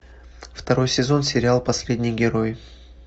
второй сезон сериал последний герой